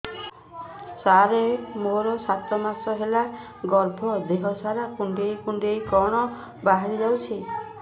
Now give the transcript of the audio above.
ସାର ମୋର ସାତ ମାସ ହେଲା ଗର୍ଭ ଦେହ ସାରା କୁଂଡେଇ କୁଂଡେଇ କଣ ବାହାରି ଯାଉଛି